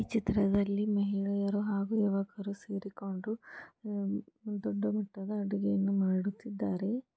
ಈ ಚಿತ್ರದಲ್ಲಿ ಮಹಿಳೆಯರು ಹಾಗು ಯುವಕರು ಸೇರಿಕೊಂಡು ದೊಡ್ಡ ದೊಡ್ಡ ಅಡುಗೆಯನ್ನು ಮಾಡುತ್ತಿದ್ದಾರೆ.